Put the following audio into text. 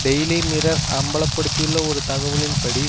daily Mirror அம்பலப்படுத்தியுள்ள ஒரு தகவலின் படி